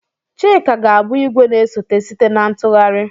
Chika ga-abụ igwe na-esote site na ntụgharị.